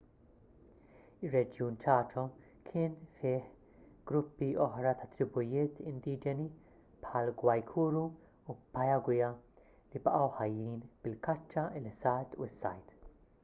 ir-reġjun chaco kien fih gruppi oħra ta’ tribujiet indiġeni bħall-guaycurú u payaguá li baqgħu ħajjin bil-kaċċa il-ħsad u s-sajd